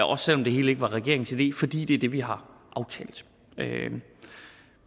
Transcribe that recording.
også selv om det hele ikke var regeringens idé fordi det er det vi har aftalt